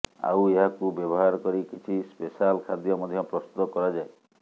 ଆଉ ଏହାକୁ ବ୍ୟବହାର କରି କିଛି ସ୍ପେଶାଲ୍ ଖାଦ୍ୟ ମଧ୍ୟ ପ୍ରସ୍ତୁତ କରାଯାଏ